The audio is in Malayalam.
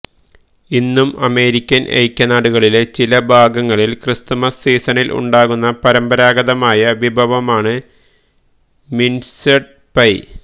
ഇന്നും അമേരിക്കന് ഐക്യനാടുകളിലെ ചില ഭാഗങ്ങളില് ക്രിസ്മസ് സീസണില് ഉണ്ടാക്കുന്ന പരമ്പരാഗതമായ വിഭവമാണ് മിന്സ്ഡ് പൈ